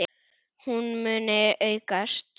Hún muni aukast!